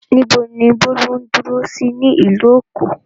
Níbo ni Bólú ń dúró sí nílùú Èkó?